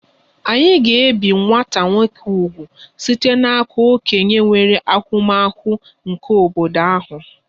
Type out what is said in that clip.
A ga-ebi nwata nwoke úgwù site n'aka okenye nwere ahụmahụ nke obodo ahụ